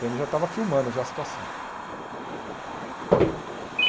Pê êMe já estava filmando já a situação.